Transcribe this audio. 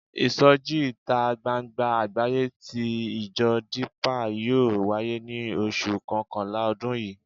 Ìsọjí ìta gbangba àgbáyé tí ìjọ Dípà yóò wáyé ní oṣù kọkànlá ọdún yìí.